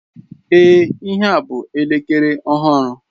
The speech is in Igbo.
Ee, ihea bụ elekere ọhụrụ.